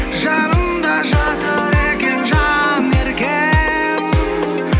жанымда жатыр екен жан еркем